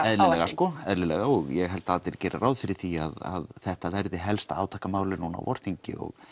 eðlilega sko eðlilega og ég held að allir geri ráð fyrir því að þetta verði helsta núna á vorþingi og